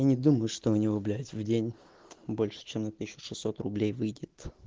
я не думаю что у него блять в день больше чем на тысячу шестьсот рублей выйдет